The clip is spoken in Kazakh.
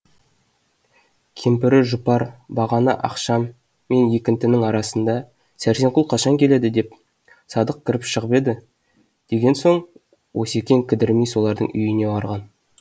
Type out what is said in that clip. кемпірі жұпар бағана ақшам мен екінтінің арасында сәрсенқұл қашан келеді деп садық кіріп шығып еді деген соң осекең кідірмей солардың үйіне барған